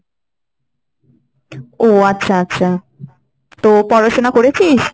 ও আচ্ছা আচ্ছা, তো পড়াশোনা করেছিস?